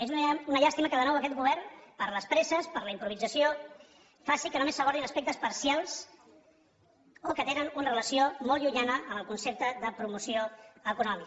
és una llàstima que de nou aquest govern per les presses per la improvisació faci que només s’abordin aspectes parcials o que tenen una relació molt llunyana amb el concepte de promoció econòmica